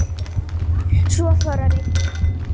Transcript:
Svo fór að rigna.